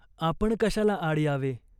आपण कशाला आड यावे ?